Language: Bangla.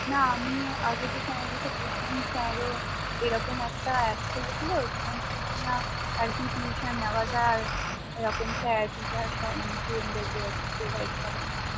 না আমি আগে যে স্যারের কাছে পড়তাম স্যার ও এরকম একটা app খুলেছিল সেখান থেকে কিনা আরকি free tuition নেওয়া যায় এরকম স্যার teacher সব মানে student দের আরকি provide করে